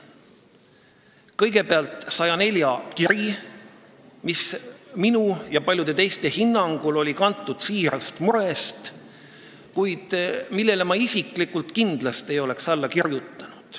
Kõigepealt nn 104 kiri, mis minu ja paljude teiste hinnangul on kantud siirast murest, kuid millele ma isiklikult kindlasti ei oleks alla kirjutanud.